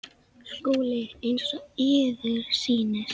SKÚLI: Eins og yður sýnist.